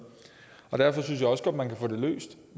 derfor synes jeg også godt man kan få det løst